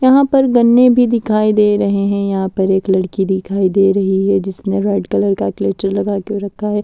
यहां पर गन्ने भी दिखाई दे रहे हैं यहां पर एक लड़की दिखाई दे रही है जिसने रेड कलर का क्लेचर लगा के रखा है।